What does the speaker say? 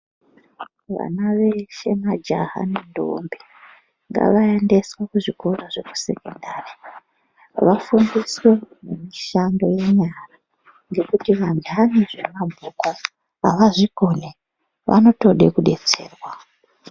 Vana veshe majaha nentombi ngavaendeswe kuzvikorwa zvemasekondari vafundiswe mishando yenyara ngekuti vantani zvemabhuku avazvikoni vanotode kudetserwa.